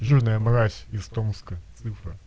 жирная мразь из томска цифра